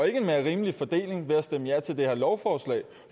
en mere rimelig fordeling ved at stemme ja til det her lovforslag